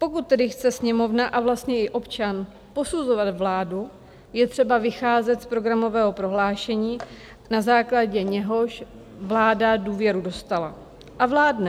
Pokud tedy chce Sněmovna a vlastně i občan posuzovat vládu, je třeba vycházet z programového prohlášení, na základě něhož vláda důvěru dostala a vládne.